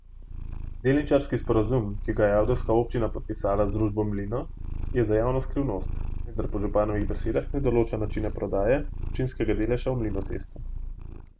Delničarski sporazum, ki ga je ajdovska občina podpisala z družbo Mlino, je za javnost skrivnost, vendar po županovih besedah ne določa načina prodaje občinskega deleža v Mlinotestu.